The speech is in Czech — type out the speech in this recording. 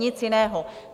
Nic jiného.